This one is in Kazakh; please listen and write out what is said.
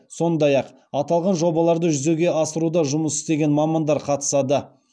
сондай ақ аталған жобаларды жүзеге асыруда жұмыс істеген мамандар қатысады